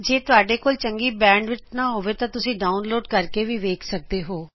ਜੇ ਤੂਹਾਡੇ ਕੋਲ ਚੰਗਾ ਬੈਂਡਵਿੜਥ ਨਹੀਂ ਹੈਤਾਂ ਤੂਸੀਂ ਇਸ ਨੂੰ ਡਾਉਂਲੋਡ ਕਰਕੇ ਵੇਖ ਸਕਦੇ ਹੋ